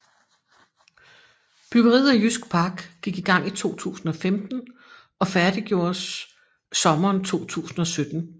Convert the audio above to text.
Byggeriet af Jysk Park gik i gang i 2015 og færdiggjordes sommeren 2017